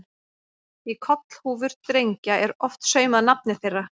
Í kollhúfur drengja er oft saumað nafnið þeirra.